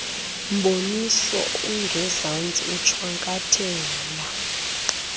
mboniso ungezantsi ushwankathela